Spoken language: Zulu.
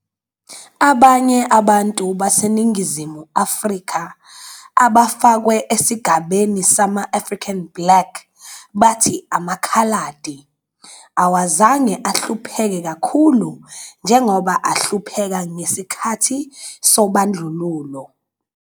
Abanye abantu baseNingizimu Afrika abafakwe esigabeni sama-"African Black" bathi "amaKhaladi" awazange ahlupheke kakhulu njengoba ahlupheka ngesikhathi sobandlululo.